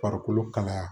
Farikolo kalaya